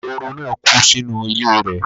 ehoro náà kú sínú ilé rẹ̀